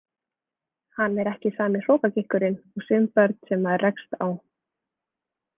Hann er ekki sami hrokagikkurinn og sum börn sem maður rekst á.